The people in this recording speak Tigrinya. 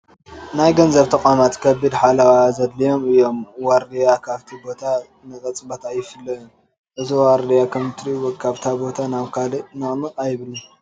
ናይ ገንዘብ ተቋማት ከቢድ ሓለዋ ዘድልዮም እዮም፡፡ ዋርዲያ ካብቲ ቦታ ንቕፅበት ኣይፍለዮን፡፡ እዚ ዋርድያ ከምትሪእዎ ካብዛ ቦታ ናብ ካልእ ንቕንቕ ኣይብልን፡፡